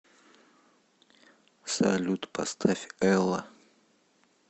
салют поставь элла